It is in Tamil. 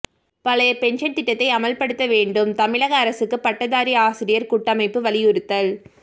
பழைய பென்ஷன் திட்டத்தை அமல்படுத்த வேண்டும் தமிழக அரசுக்கு பட்டதாரி ஆசிரியர் கூட்டமைப்பு வலியுறுத்தல்